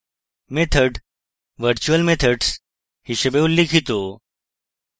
methods virtual methods হিসাবে উল্লিখিত